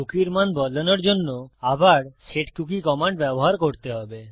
কুকীর মান বদলানোর জন্য আবার সেটকুকি কমান্ড ব্যবহার করতে হবে